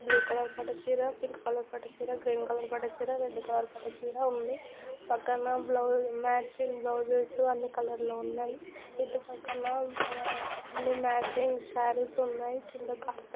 Blue పట్టు colour పట్టు చీర పింక్ కలర్ పట్టు చీర గ్రీన్ కలర్ పట్టు చీర రెడ్ కలర్ పట్టు చీర ఉంది. పక్కన మ్యాచింగ్ బ్లౌసేస్ అన్ని కలర్ లో ఉన్నాయి. చుట్టుపక్కల మ్యాచింగ్ సారీస్ ఉన్నాయి కింద--